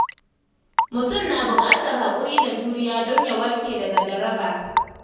Mutum na bukatar haƙuri da juriya don ya warke daga jaraba.